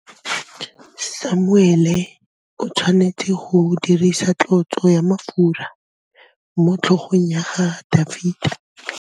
Samuele o tshwanetse go dirisa tlotsô ya mafura motlhôgong ya Dafita.